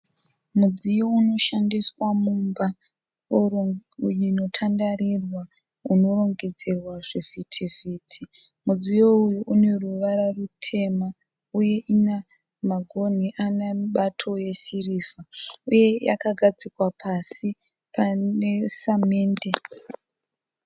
Mudziyo unoshandiswa mumba inotandarirwa unorongedzerwa zvivhiti-vhiti. Mudziyo uyu une ruvara rutema uye una magonhi ana mubato yesirivha uye yakagadzikwa pasi pane samende.